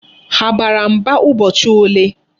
Ha bara mba ụbọchị ole?